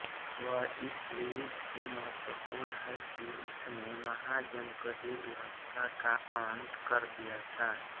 वह इसलिए भी महत्वपूर्ण है कि उसने महाजनपदीय व्यवस्था का अंत कर दिया था